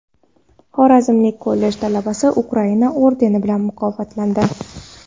Xorazmlik kollej talabasi Ukraina ordeni bilan mukofotlandi.